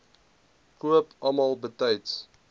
koop almal betyds